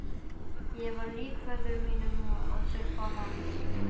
Ég var lík föður mínum og tilbað hann.